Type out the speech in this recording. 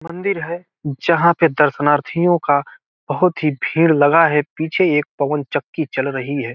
मंदिर जहाँ पे दर्शनार्थियों का बहुत ही भीड़ लगा हैं पीछे एक पवन चक्की चल रही है।